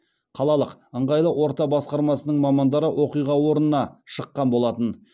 қалалық ыңғайлы орта басқармасының мамандары оқиға орнына шыққан болатын